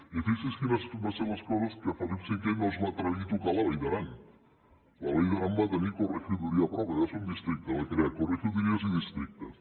i fixin se quines van ser les coses que felip v no es va atrevir a tocar la vall d’aran la vall d’aran va tenir corregiduría pròpia va ser un districte va crear corregidurías i districtes